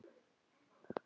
Ekkert er okkar eigið.